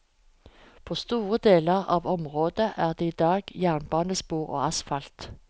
På store deler av området er det i dag jernbanespor og asfalt.